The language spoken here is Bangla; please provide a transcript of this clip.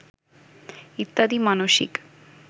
ইত্যাদি মানসিক